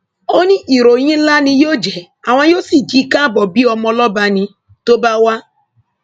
ó ní ìròyìn ńlá ni yóò jẹ àwọn yóò sì kì í kábọ bíi ọmọ ọlọba ní tó bá wà